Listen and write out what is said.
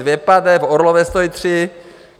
Dvě pade, v Orlové stojí tři.